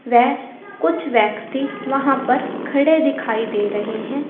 व कुछ व्यक्ति वहां पर खड़े दिखाई दे रहे हैं।